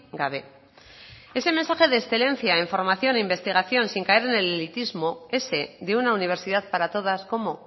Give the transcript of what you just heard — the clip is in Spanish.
gabe ese mensaje de excelencia en formación e investigación sin caer en el elitismo ese de una universidad para todas cómo